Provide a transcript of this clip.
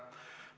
Tore.